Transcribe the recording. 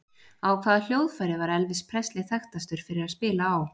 Á hvaða hljóðfæri var Elvis Presley þekktastur fyrir að spila á?